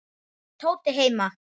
Er Tóti heima?